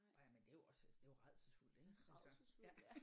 Nåh ja men det er jo også altså det er jo rædselsfuldt ik altså ja